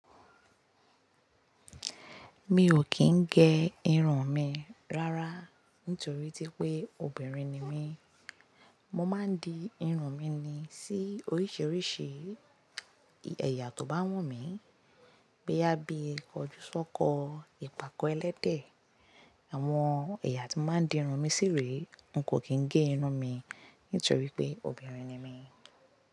Mi ò kí ń gé irun mi rárá nítorí pé obìnrin ni mí. Mo máa ń di irun mi ni sí oríṣiríṣi ẹ̀yà tó bá wù mí. Gbé yá bí i kojúsọ́kọ, ìpàkọ ẹlẹ́dẹ̀. Àwọn ẹ̀yà tí máa ń di irun mi sí rí, n kò kí ń gé irun mi nítorí pé obìnrin ni mí.